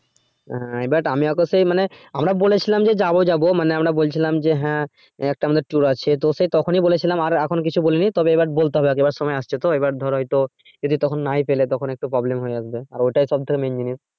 হ্যা but আমি আগেতেই মানে আমরা বলেছিলাম যে যাবো যাবো মানে আমরা বলছিলাম যে হ্যা একটা আমদের tour আছে তো সে তখনই বলেছিলাম আর এখন কিছু বলিনি তবে এবার বলতে হবে আগে এবার সময় আসছে তো এবার ধর হয়তো যদি তখন নাই পেলে তখন একটু problem হয়ে যাবে যে আর ওটাই সব থেকে main জিনিস।